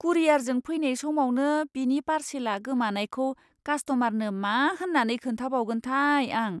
कुरियारजों फैनाय समावनो बिनि पारसेलआ गोमानायखौ कास्ट'मारनो मा होन्नानै खोन्थाबावगोनथाय आं।